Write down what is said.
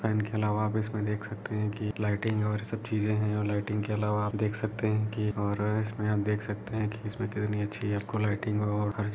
fan के अलावा आप इसमें देख सकते हैं कि लाइटिंग है और ये सब चीजे हैं और लाइटिंग के अलावा आप देख सकते हैं कि और इसमें आप देख सकते हैं कि कितनी अच्छी आपको लाइटिंग और हर --